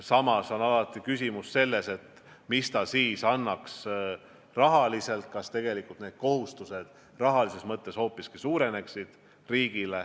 Samas on küsimus, mida see annaks rahaliselt, kas mitte need riigi kohustused rahalises mõttes hoopiski ei suurene.